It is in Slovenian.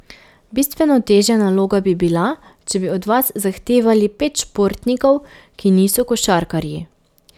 Bistveno težja naloga bi bila, če bi od vas zahtevali pet športnikov, ki niso košarkarji.